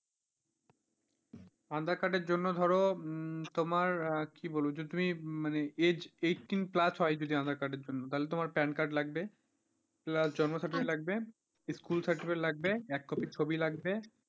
adhaar card এর জন্য ধরো তোমার কি বলবো যে তুমি মানে age eighteen plus হয় aadhaar card এর জন্য তাহলে তোমার PAN card লাগবে plus জন্ম certificate লাগবে, school certificate লাগবে, এক কপি ছবি লাগবে।